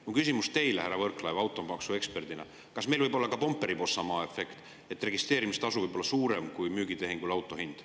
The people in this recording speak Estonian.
Mul on küsimus teile, härra Võrklaev, kui automaksueksperdile: kas meil võib olla ka Pomperipossa maa efekt, et registreerimistasu võib olla suurem kui auto hind müügitehingu ajal?